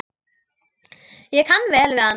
Ég kann vel við hana.